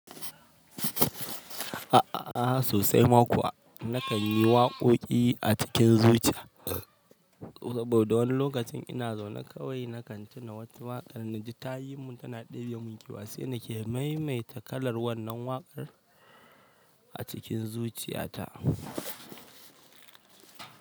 A'a sosai ma kuwa na kan yi waƙoƙi a cikin zuciya saboda wani lokacin ina zaune kawai na kan tuna wata waƙar na ji ta yi mun tana ɗebiya mun kewa sai na ke maimaita kalar wannan waƙar a cikin zuciya ta.